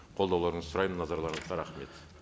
қолдауларыңызды сұраймын назарларыңызға рахмет